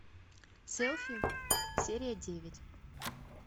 селфи серия девять